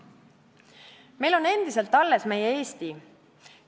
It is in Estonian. Meil on endiselt alles meie Eesti.